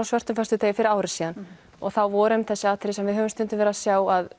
svörtum föstudegi fyrir ári síðan þá voru einmitt þessi atriði sem við höfum stundum verið að sjá að